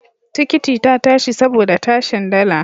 Tikiti ta tashi saboda tashin dala.